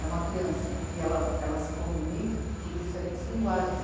É uma criança que ela, ela se comunica por diferentes linguagens.